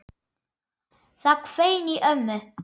Það hvein í ömmu.